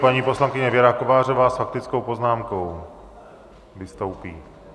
Paní poslankyně Věra Kovářová s faktickou poznámkou vystoupí.